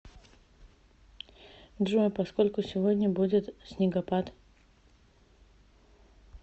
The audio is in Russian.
джой поскольку сегодня будет снегопад